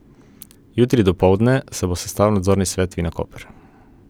Jutri dopoldne se bo sestal nadzorni svet Vinakoper.